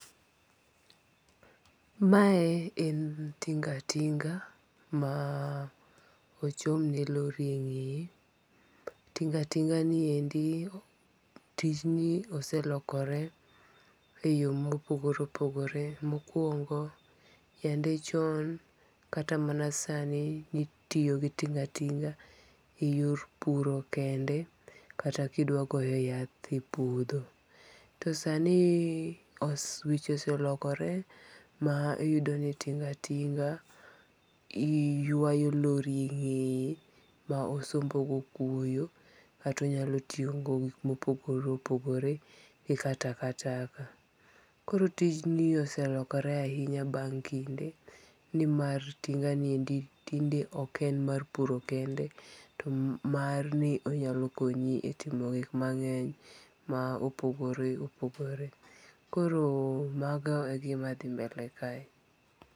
Mae en tinga' tinga' ma ochomne lori e nge'ye, tinga' tinga' ni ende tijni oselokore e yo mopogore opogore, mokuongo' yande chon kata mana sani nitiyo gi tinga tinga eyor puro kende, kata kidwagoyo yath e puotho to sani weche oselokore ma iyudo ni tinga tinga iywayo lori e nge'ye ma osombogo kwoyo kata onyalontiyogodo e gik ma opogore opogore, kaka taka taka, koro tijni oselokore ahinya bang kinde ni mar tinganiendi tinde ok en mar puro kende, to mar ni onyako konyi e timo gik mange'ny ma opogore opogore koro mago e gimathi mbele kae.